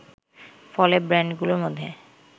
ফলে ব্র্যান্ডগুলোর মধ্যে